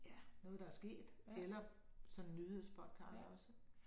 Ja noget der er sket eller sådan nyhedspodcast også